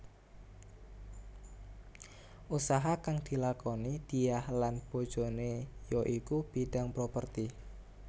Usaha kang dilakoni Diah lan bojoné ya iku bidhang properti